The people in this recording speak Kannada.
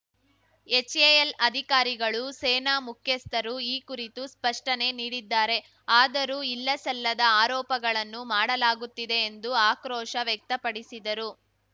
ಎಚ್‌ಎಎಲ್‌ ಅಧಿಕಾರಿಗಳು ಸೇನಾ ಮುಖ್ಯಸ್ಥರು ಈ ಕುರಿತು ಸ್ಪಷ್ಟನೆ ನೀಡಿದ್ದಾರೆ ಆದರೂ ಇಲ್ಲಸಲ್ಲದ ಆರೋಪಗಳನ್ನು ಮಾಡಲಾಗುತ್ತಿದೆ ಎಂದು ಆಕ್ರೋಶ ವ್ಯಕ್ತಪಡಿಸಿದರು